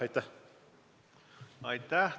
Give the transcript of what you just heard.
Aitäh!